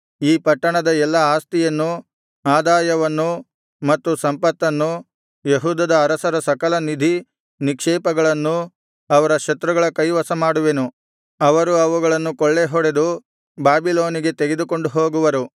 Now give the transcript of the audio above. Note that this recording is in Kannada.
ಈ ಪಟ್ಟಣದ ಎಲ್ಲಾ ಆಸ್ತಿಯನ್ನೂ ಆದಾಯವನ್ನೂ ಮತ್ತು ಸಂಪತ್ತನ್ನೂ ಯೆಹೂದದ ಅರಸರ ಸಕಲ ನಿಧಿ ನಿಕ್ಷೇಪಗಳನ್ನೂ ಅವರ ಶತ್ರುಗಳ ಕೈವಶಮಾಡುವೆನು ಅವರು ಅವುಗಳನ್ನು ಕೊಳ್ಳೆಹೊಡೆದು ಬಾಬಿಲೋನಿಗೆ ತೆಗೆದುಕೊಂಡು ಹೋಗುವರು